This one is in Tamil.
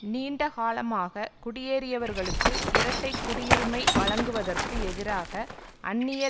நீண்ட காலமாக குடியேறியவர்களுக்கு இரட்டை குடியுரிமை வழங்குவதற்கு எதிராக அந்நிய